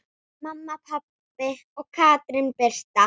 Mamma, pabbi og Katrín Birta.